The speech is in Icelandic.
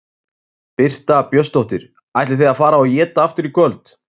Birta Björnsdóttir: Ætlið þið að fara og éta aftur í kvöld?